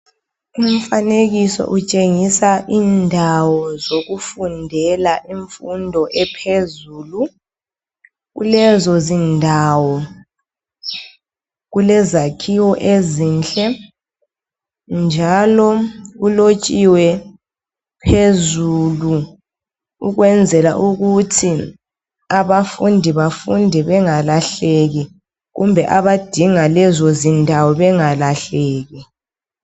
umfanekiso utshengisa indawo zokufundela imfundo ephezulu kulezo zindawo kulezakhiwo ezinhle njalo kulotshiwe phezulu ukwenzela ukuthi abafundi bafunde bengalahleki kumbe abadinga lezo zindawo bengalahleki